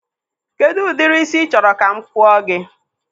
Kedụ ụdịrị ísí ị chọrọ ka m kpụọ gị?